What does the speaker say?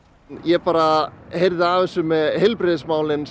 ég bara heyrði af þessu með heilbrigðismálin